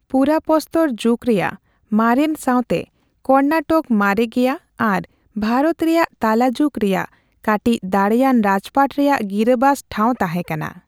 ᱯᱩᱨᱟᱯᱚᱥᱛᱚᱨ ᱡᱩᱜᱽ ᱨᱮᱭᱟᱜ ᱢᱟᱨᱮᱱ ᱥᱟᱣᱛᱮ ᱠᱚᱨᱱᱟᱴᱚᱠ ᱢᱟᱨᱮ ᱜᱮᱭᱟ ᱟᱨ ᱵᱷᱟᱨᱚᱛ ᱨᱮᱭᱟᱜ ᱛᱟᱞᱟᱡᱩᱜᱽ ᱨᱮᱭᱟᱜ ᱠᱟᱴᱤᱪ ᱫᱟᱲᱮᱭᱟᱱ ᱨᱟᱡᱽᱯᱟᱴ ᱨᱮᱭᱟᱜ ᱜᱤᱨᱟᱹᱵᱟᱥ ᱴᱷᱟᱣ ᱛᱟᱦᱮᱸᱠᱟᱱᱟ ᱾